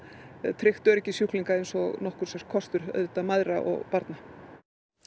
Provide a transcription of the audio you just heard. tryggt öryggi sjúklinga eins og nokkur sé kostur auðvitað mæðra og barna